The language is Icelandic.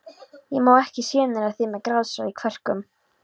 Ég má ekki sjenera þig með grátstaf í kverkum.